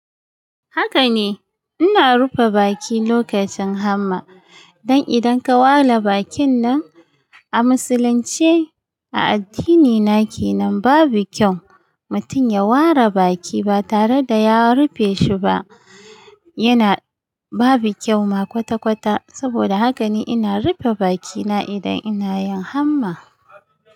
Haka ne, ina rufe baki lokacin hamma dan idan ka wala bakin nan a musulunce a addini na kenan babu kyau mutum ya ware baki ba tare da ya rufe shi ba, yana babu kyau ma kwata-kwata saboda haka ne ina rufe bakina idan ina yin hamma.